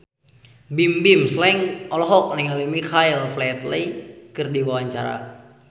Bimbim Slank olohok ningali Michael Flatley keur diwawancara